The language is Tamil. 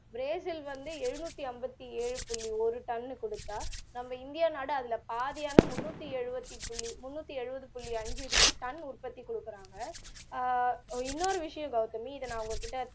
brasil வந்து எழுநூற்றிஐம்பத்துஏழு புள்ளி ஒரு டன் குடுத்தா நம்ம இந்தியா நாடு அதில பாதியானா முந்நூற்று எழுபத்து புள்ளி முண்ணுற்றி எழுவது புள்ளி ஐந்து டன் உட்பத்தி கொடுக்குறாங்க ஆஹ் இனொரு விஷயம் கவுதமி இத நான் உங்ககிட்ட